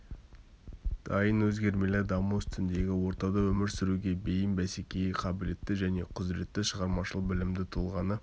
дайын өзгермелі даму үстіндегі ортада өмір сүруге бейім бәсекеге қабілетті және құзыретті шығармашыл білімді тұлғаны